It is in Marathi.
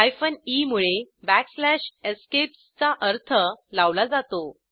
हायफेन e मुळे बॅकस्लॅश एस्केप्स चा अर्थ लावला जातो